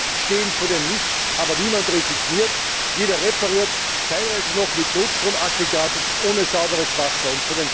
Viele stehen vor dem Nichts, aber niemand resigniert, jeder repariert teilweise noch mit Notstromaggregat und ohne sauberes Wasser.